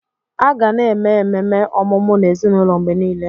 A ga na eme ememe ọmụmụ n'ezinụlọ mgbe niile.